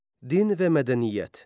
Din və mədəniyyət.